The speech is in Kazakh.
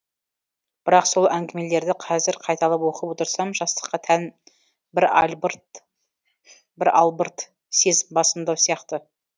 бірақ сол әңгімелерді қазір қайталап оқып отырсам жастыққа тән бір албырт сезім басымдау сияқты